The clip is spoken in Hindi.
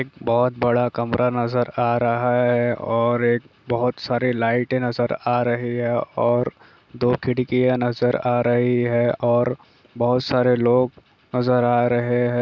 एक बहुत बड़ा कमरा नज़र आ रहा है और एक बहुत सारी लाइट नज़र आ रही है और दो खिड़कियां नज़र आ रही है और बहुत सारे लोग नज़र आ रहे है। ।